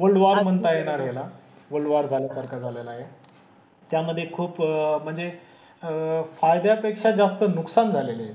World war म्हणता येणार ह्याला. वल्ड वॉर झाल्यासारखं झालेलं आहे. त्यामधे खूप म्हणजे अह फायद्यापेक्षा जास्त नुकसान झालेलं आहे.